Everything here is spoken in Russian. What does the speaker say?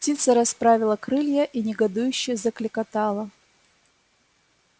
птица расправила крылья и негодующе заклекотала